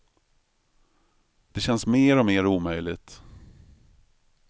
Det känns mer och mer omöjligt.